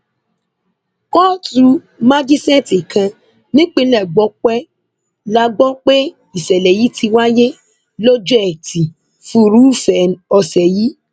kóòtù májíṣẹẹtì kan nípínlẹ gbọpẹ la gbọ pé ìṣẹlẹ yìí ti wáyé lọjọ etí furuufee ọsẹ yìí